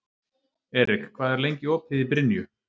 Erik, hvað er lengi opið í Brynju?